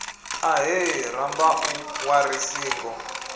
ahee rambau wa ri singo